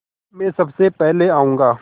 मैं सबसे पहले जाऊँगा